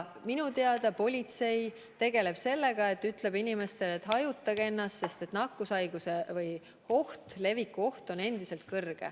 Minu teada politsei tegeleb sellega, et ütleb inimestele, et hajutage ennast, sest nakkushaiguse leviku oht on endiselt kõrge.